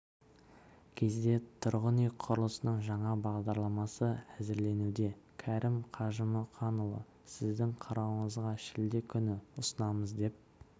кезде тұрғын үй құрылысының жаңа бағдарламасы әзірленуде кәрім қажымұқанұлы сіздің қарауыңызға шілде күні ұсынамыз деп